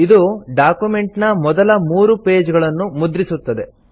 ಇದು ಡಾಕ್ಯುಮೆಂಟ್ ನ ಮೊದಲ ಮೂರು ಪೇಜ್ ಗಳನ್ನು ಮುದ್ರಿಸುತ್ತದೆ